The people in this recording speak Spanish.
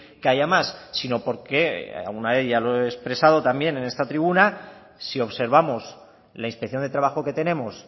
que haya más sino porque alguna vez ya lo he expresado también en esta tribuna si observamos la inspección de trabajo que tenemos